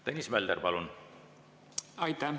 Tõnis Mölder, palun!